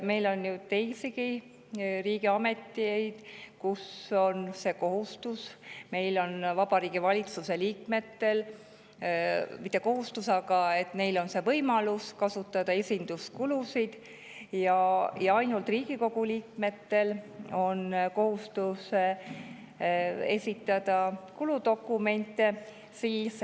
Meil on teisigi riigiameteid, kus esinduskulud – Vabariigi Valitsuse liikmetel on see võimalus –, aga kuludokumentide esitamise kohustus on ainult Riigikogu liikmetel.